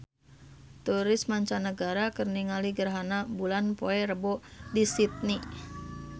Turis mancanagara keur ningali gerhana bulan poe Rebo di Sydney